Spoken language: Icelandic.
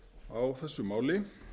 á þessu máli